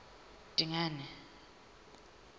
dingane